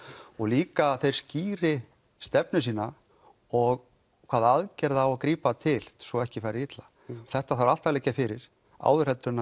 og líka að þeir skýri stefnu sína og hvaða aðgerða á að grípa til svo ekki fari illa þetta þarf allt að liggja fyrir áður en